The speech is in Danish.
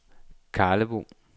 Karlebo